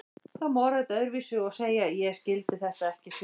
Það má orða þetta öðruvísi og segja: Ég skildi þetta ekki fyrr en eftir á.